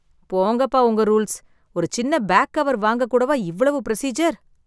போங்கப்பா, உங்க ரூல்ஸ். ஒரு சின்ன பேக் கவர் வாங்க கூட வா, இவ்வளவு ப்ரொசீஜர்.